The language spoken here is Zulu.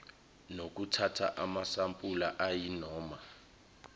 nokuthatha amasampula ayinoma